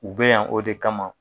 U bɛ yan o de kama